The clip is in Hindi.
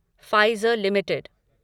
Pfizer limited